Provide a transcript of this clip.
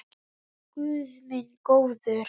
Já, guð minn góður.